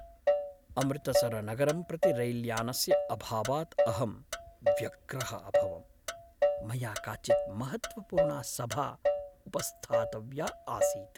अमृतसरनगरं प्रति रैल्यानस्य अभावात् अहं व्यग्रः अभवम्, मया काचित् महत्त्वपूर्णा सभा उपस्थातव्या आसीत्।